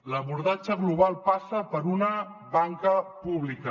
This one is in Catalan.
l’abordatge global passa per una banca pública